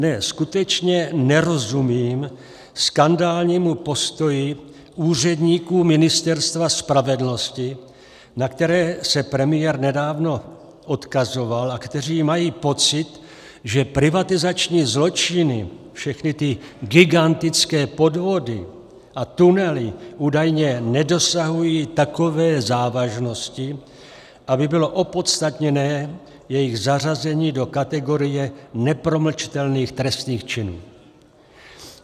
Ne, skutečně nerozumím skandálnímu postoji úředníků Ministerstva spravedlnosti, na které se premiér nedávno odkazoval a kteří mají pocit, že privatizační zločiny, všechny ty gigantické podvody a tunely, údajně nedosahují takové závažnosti, aby bylo opodstatněné jejich zařazení do kategorie nepromlčitelných trestných činů.